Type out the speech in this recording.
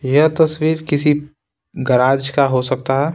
यह तस्वीर किसी गराज का हो सकता है।